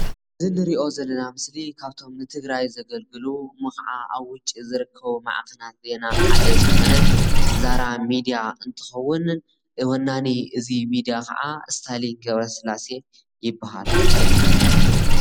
እዚ እንሪኦ ዘለና ምስሊ ካብቶም ን ትግራይ ዘገልግሉ እሞ ክዓ ኣብ ውጪ ዝርከቡ ማዕከናት ዜና ሓደ ዝኮነ ዛራ ሚድያ እንትከውን ወናኒ እዚ ሚድያ ክዓ ስታሊን ገ/ ስላሴ ይበሃል።